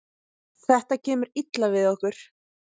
Þetta kemur illa við okkur